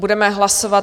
Budeme hlasovat.